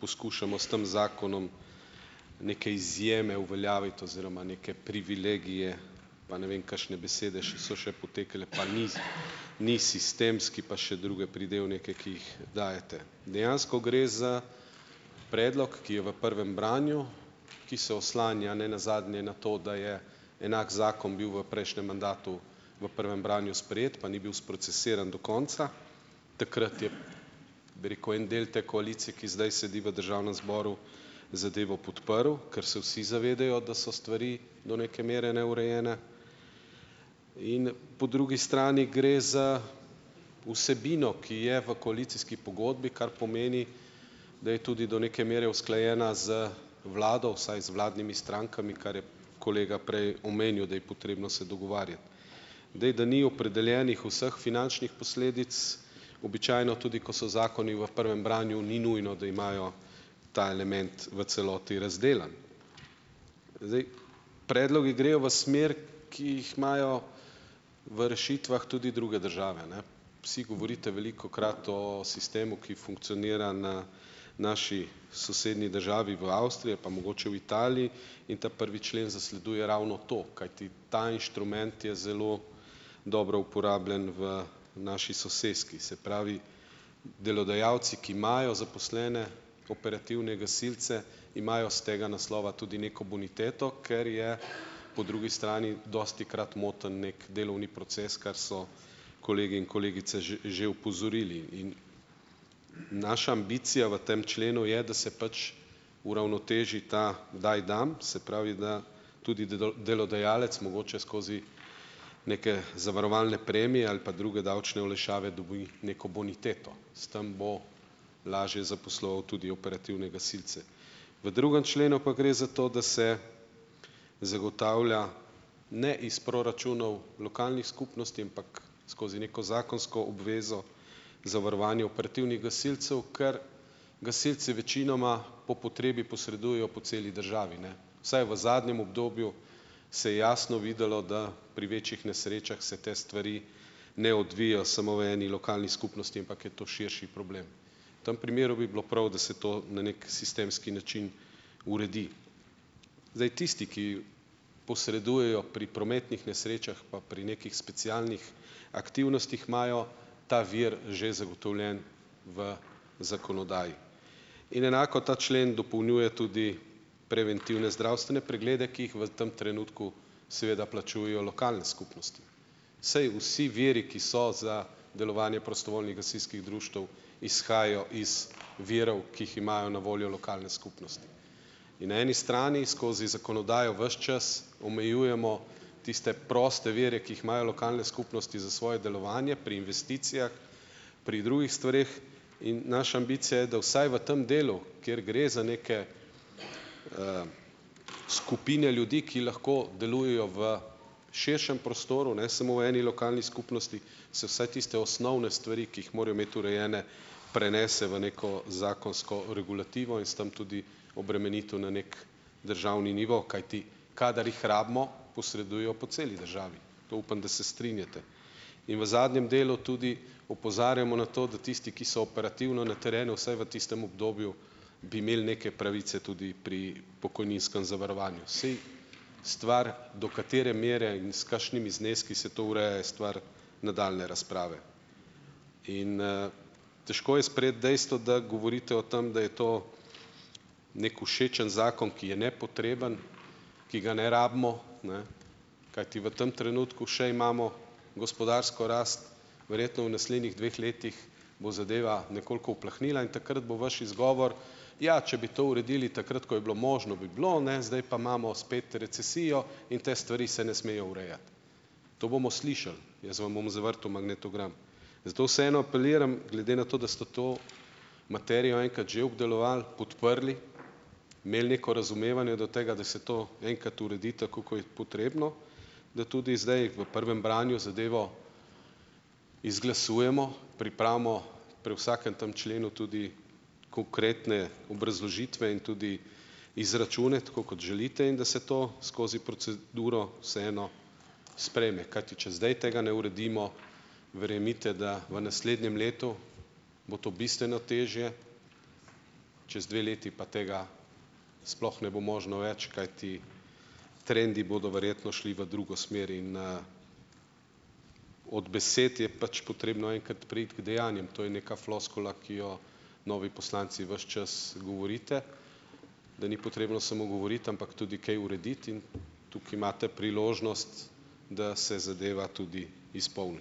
poskušamo s tam zakonom neke izjeme uveljaviti oziroma neke privilegije, pa ne vem kakšne besede še so še potekale, pa ni ni sistemski pa še druge pridevnike, ki jih dajete. Dejansko gre za predlog, ki je v prvem branju, ki se oslanja ne nazadnje na to, da je enak zakon bil v prejšnjem mandatu v prvem branju sprejet, pa ni bil sprocesiran do konca. Takrat je, bi rekel, en del te koalicije, ki zdaj sedi v državnem zboru, zadevo podprl, ker se vsi zavedajo, da so stvari do neke mere neurejene. In po drugi strani gre za vsebino, ki je v koalicijski pogodbi, kar pomeni, da je tudi do neke mere usklajena z vlado, vsaj z vladnimi strankami, kar je kolega prej omenil, da je potrebno se dogovarjati. Zdaj, da ni opredeljenih vseh finančnih posledic, običajno tudi, ko so zakoni v prvem branju, ni nujno, da imajo ta element v celoti razdelan. Predlogi grejo v smer, ki jih imajo v rešitvah tudi druge države, ne. vsi govorite velikokrat o sistemu, ki funkcionira na naši sosednji državi v Avstriji ali pa mogoče v Italiji, in ta prvi člen zasleduje ravno to, kajti ta inštrument je zelo dobro uporabljen v naši soseski. Se pravi, delodajalci, ki imajo zaposlene operativne gasilce, imajo s tega naslova tudi neko boniteto, ker je po drugi strani dostikrat moten neki delovni proces, kar so kolegi in kolegice že opozorili in naša ambicija v tam členu je, da se pač uravnoteži ta, kdaj dam, se pravi, da tudi delodajalec mogoče skozi neke zavarovalne premije ali pa druge davčne olajšave dobi neko boniteto. S tem bo lažje zaposloval tudi operativne gasilce. V drugem členu pa gre za to, da se zagotavlja ne iz proračunov lokalnih skupnosti, ampak skozi neko zakonsko obvezo zavarovanje operativnih gasilcev, ker gasilci večinoma po potrebi posredujejo po celi državi, ne, vsaj v zadnjem obdobju se jasno videlo, da pri večjih nesrečah se te stvari ne odvijejo samo v eni lokalni skupnosti, ampak je to širši problem. V tem primeru bi bilo prav, da se to na neki sistemski način uredi. Zdaj tisti, ki posredujejo pri prometnih nesrečah pa pri nekih specialnih aktivnostih, imajo ta vir že zagotovljen v zakonodaji. In enako ta člen dopolnjuje tudi preventivne zdravstvene preglede, ki jih v tem trenutku seveda plačujejo lokalne skupnosti. Saj vsi viri, ki so za delovanje prostovoljnih gasilskih društev izhajajo iz virov, ki jih imajo na voljo lokalne skupnosti in eni strani skozi zakonodajo ves čas omejujemo tiste proste vire, ki jih imajo lokalne skupnosti za svoje delovanje pri investicijah, pri drugih stvareh, in naša ambicija je, da vsaj v tem delu, kjer gre za neke skupine ljudi, ki lahko delujejo v širšem prostoru ne samo v eni lokalni skupnosti, se vsaj tiste osnovne stvari, ki jih morajo imeti urejene, prenese v neko zakonsko regulativo in s tem tudi obremenitev na neki državni nivo, kajti kadar jih rabimo, posredujejo po celi državi. To upam, da se strinjate. In v zadnjem delu tudi opozarjamo na to, da tisti, ki so operativno na terenu, vsaj v tistem obdobju bi imeli neke pravice tudi pri pokojninskem zavarovanju. Saj stvar, do katere mere in s kakšnimi zneski se to ureja, je stvar nadaljnje razprave. Težko je sprejeti dejstvo, da govorite o tem, da je to neki všečen zakon, ki je nepotreben, ki ga ne rabimo, ne, kajti v tem trenutku še imamo gospodarsko rast. Verjetno v naslednjih dveh letih bo zadeva nekoliko uplahnila in takrat bo vaš izgovor, ja, če bi to uredili takrat, ko je bilo možno, bi bilo, ne, zdaj pa imamo spet recesijo in te stvari se ne smejo urejati. To bomo slišali, jaz vam bom zavrtel magnetogram. Zato vseeno apeliram glede na to, da ste to materijo enkrat že obdelovali, podprli, imeli neko razumevanje do tega, da se to enkrat uredi, tako ko je potrebno, da tudi zdaj v prvem branju zadevo izglasujemo, pripravimo pri vsakem tem členu tudi konkretne obrazložitve in tudi izračune, tako kot želite, in da se to skozi proceduro vseeno sprejme, kajti če zdaj tega ne uredimo, verjemite, da v naslednjem letu bo to bistveno težje, čez dve leti pa tega sploh ne bo možno več, kajti trendi bodo verjetno šli v drugo smer. In, od besed je pač potrebno enkrat preiti k dejanjem. To je neka floskula, ki jo novi poslanci ves čas govorite, da ni potrebno samo govoriti, ampak tudi kaj urediti. In tukaj imate priložnost, da se zadeva tudi izpolni.